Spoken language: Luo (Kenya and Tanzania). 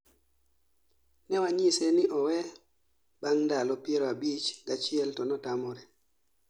Newanyise ni owee bang' ndalo piero abich gachiel to notamore